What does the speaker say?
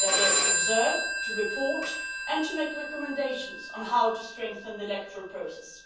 They are there to observe, to report and to make recommendations on how to strengthen the electoral process.